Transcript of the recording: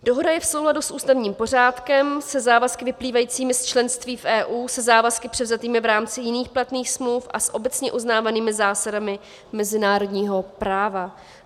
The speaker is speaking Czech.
Dohoda je v souladu s ústavním pořádkem, se závazky vyplývajícími z členství v EU, se závazky převzatými v rámci jiných platných smluv a s obecně uznávanými zásadami mezinárodního práva.